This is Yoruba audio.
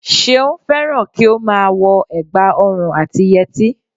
Seun fẹ́ràn kí ó má a wo ẹ̀gbà ọrùn àti yẹtí